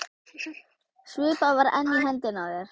Svipan var enn í hendinni á þér.